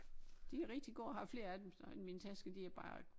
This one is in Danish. De er rigtig gode jeg har flere af dem så end min taske de er bare